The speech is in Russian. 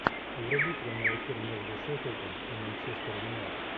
вруби прямой эфир между шеффилдом и манчестер юнайтед